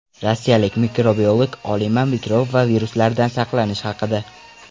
Rossiyalik mikrobiolog olima mikrob va viruslardan saqlanish haqida.